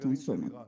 Statın sonu.